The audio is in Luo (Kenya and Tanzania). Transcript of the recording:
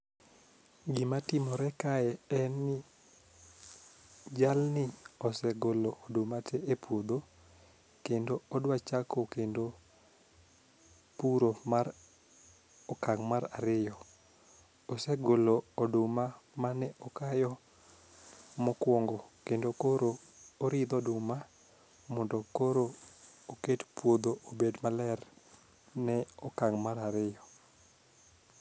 Gima timor kae en ni jalni osegolo oduma te e puodho kendo odwa chako kendo puro mar okang' mar ariyo. osegolo oduma mane okayo mokuongo kendo koro oridho oduma mondo koro oket kodhi obed maber ne okang' mar ariyo.